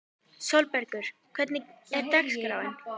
Sólbergur, hvernig er dagskráin?